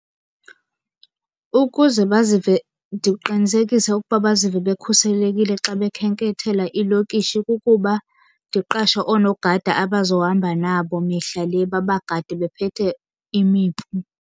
Ukuze bazive, ndiqinisekise ukuba bazive bekhuselekile xa bekhenkethela iilokishi kukuba ndiqashe oonogada abazohamba nabo mihla le, babagade bephethe imipu.